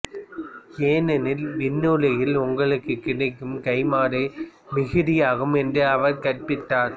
ஏனெனில் விண்ணுலகில் உங்களுக்குக் கிடைக்கும் கைம்மாறு மிகுதியாகும் என்றும் அவர் கற்பித்தார்